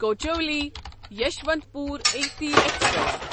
Kochuveli Yesvantpur A C express